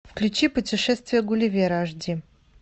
включи путешествие гулливера аш ди